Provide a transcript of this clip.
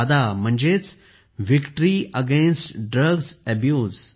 वाडा म्हणजे victory against drugs Abuse